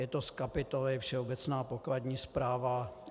Je to z kapitoly Všeobecná pokladní správa.